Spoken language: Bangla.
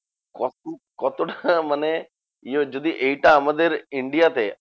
কত কতটা মানে ইয়ে যদি এইটা আমাদের India তে